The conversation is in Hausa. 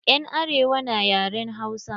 Yan arewa na yaren Hausa.